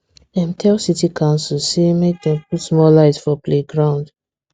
dem tell city coucil say make dem put more light for playground